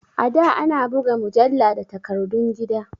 A da ana buga mujalla da takardun gida